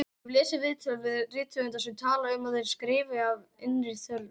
Ég hef lesið viðtöl við rithöfunda sem tala um að þeir skrifi af innri þörf.